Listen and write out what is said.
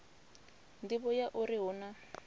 nḓivho ya uri hu na